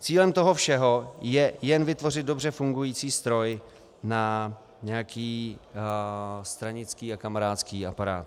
Cílem toho všeho je jen vytvořit dobře fungující stroj na nějaký stranický a kamarádský aparát.